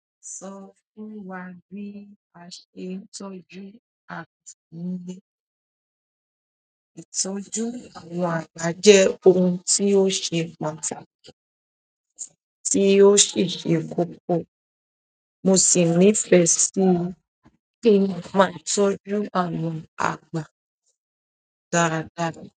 Sọ fún wa bí àṣe ìtọ́jú àti ilé. Ìtọ́jú àwọn àgbà jẹ́ ohun tí ó ṣe pàtàkì, tí ó sì ṣe kókó. Mo sì nífẹ̀ẹ́ sí kí n máa tọ́jú àwọn àgbà dáradára.